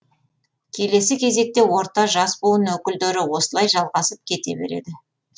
келесі кезекте орта жас буын өкілдері осылай жалғасып кете береді